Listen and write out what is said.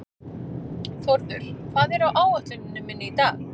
Þórður, hvað er á áætluninni minni í dag?